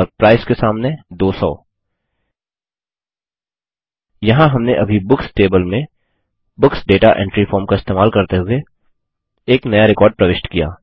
और प्राइस के सामने 200 यहाँ हमने अभी बुक्स टेबल में बुक्स दाता एंट्री फॉर्म का इस्तेमाल करते हुए एक नया रिकॉर्ड प्रविष्ट किया